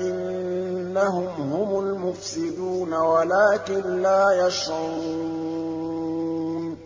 إِنَّهُمْ هُمُ الْمُفْسِدُونَ وَلَٰكِن لَّا يَشْعُرُونَ